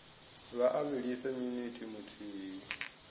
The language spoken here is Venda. vha a vhilise minithi muthihi